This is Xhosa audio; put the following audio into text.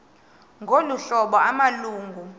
ngolu hlobo amalungu